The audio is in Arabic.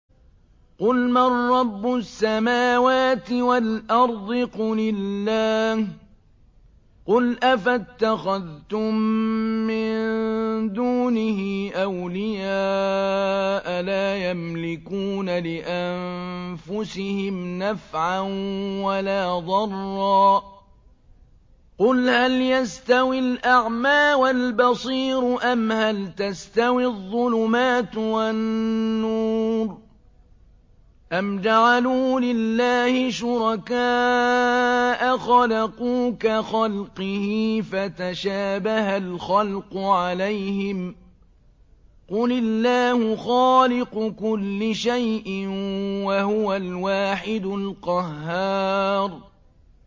قُلْ مَن رَّبُّ السَّمَاوَاتِ وَالْأَرْضِ قُلِ اللَّهُ ۚ قُلْ أَفَاتَّخَذْتُم مِّن دُونِهِ أَوْلِيَاءَ لَا يَمْلِكُونَ لِأَنفُسِهِمْ نَفْعًا وَلَا ضَرًّا ۚ قُلْ هَلْ يَسْتَوِي الْأَعْمَىٰ وَالْبَصِيرُ أَمْ هَلْ تَسْتَوِي الظُّلُمَاتُ وَالنُّورُ ۗ أَمْ جَعَلُوا لِلَّهِ شُرَكَاءَ خَلَقُوا كَخَلْقِهِ فَتَشَابَهَ الْخَلْقُ عَلَيْهِمْ ۚ قُلِ اللَّهُ خَالِقُ كُلِّ شَيْءٍ وَهُوَ الْوَاحِدُ الْقَهَّارُ